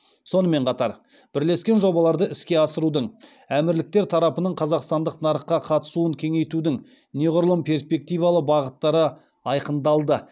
сонымен қатар бірлескен жобаларды іске асырудың әмірліктер тарапының қазақстандық нарыққа қатысуын кеңейтудің неғұрлым перспективалы бағыттары айқындалды